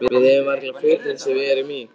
Við eigum varla fötin sem við erum í.